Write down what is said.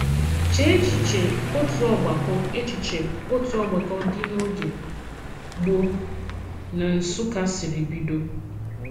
Chee echiche otu ògbàkọ echiche otu ògbàkọ dị n’oge gboo n’Nsụ́kkà siri bido.